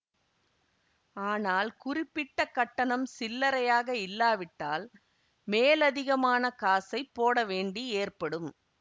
ஆனால் குறிப்பிட்டக் கட்டணம் சில்லரையாக இல்லாவிட்டால் மேலதிகமான காசைப் போட வேண்டி ஏற்படும்